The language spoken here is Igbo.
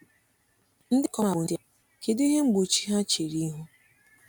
Ndị ikom a bụ ndị a, kedu ihe mgbochi ha chere ihu?